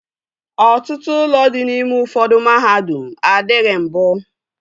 Ọtụtụ ụlọ dị n'ime ụfọdụ mahadum adịghị mbụ